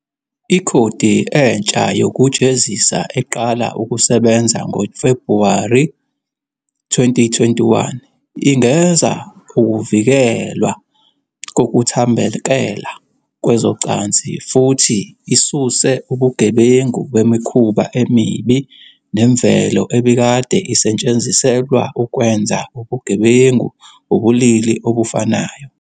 Ikhodi entsha yokujezisa eqala ukusebenza ngoFebhuwari 2021 ingeza ukuvikelwa kokuthambekela kwezocansi futhi isuse ubugebengu "bemikhuba emibi nemvelo", ebikade isetshenziselwa ukwenza ubugebengu ubulili obufanayo.